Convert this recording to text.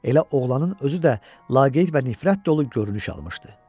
Elə oğlanın özü də laqeyd və nifrət dolu görünüş almışdı.